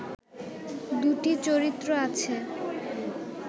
দুটি চরিত্র আছে